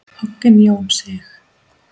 Hogginn Jón Sig.